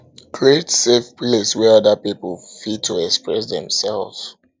create safe place wey oda pipo fit oda pipo fit to express dem self